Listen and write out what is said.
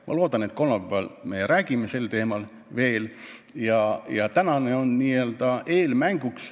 Ma loodan, et kolmapäeval me räägime sel teemal veel ja tänane on n-ö eelmänguks ...